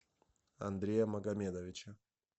андрея магомедовича